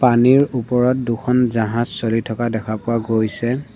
পানীৰ ওপৰত দুখন জাহাজ চলি থকা দেখা পোৱা গৈছে।